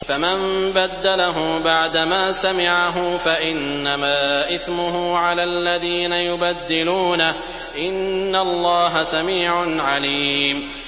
فَمَن بَدَّلَهُ بَعْدَمَا سَمِعَهُ فَإِنَّمَا إِثْمُهُ عَلَى الَّذِينَ يُبَدِّلُونَهُ ۚ إِنَّ اللَّهَ سَمِيعٌ عَلِيمٌ